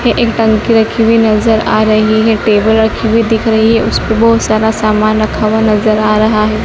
ये एक टंकी रखी हुई नज़र आ रही है टेबल रखी हुई दिख रही है उसपे बहुत सारा सामान रखा हुआ नज़र आ रहा है।